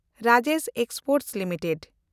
Rajesh exports limited